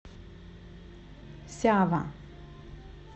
сява